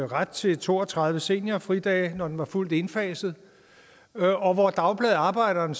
ret til to og tredive seniorfridage når den var fuldt indfaset og hvor dagbladet arbejderen